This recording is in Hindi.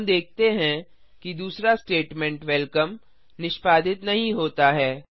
हम देखते हैं कि दूसरा स्टेटमेंट वेलकम निष्पादित नहीं होता है